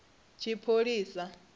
tshipholisa